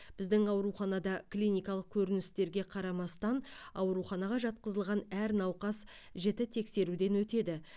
біздің ауруханада клиникалық көріністерге қарамастан ауруханаға жатқызылған әр науқас жіті тексеруден өтеді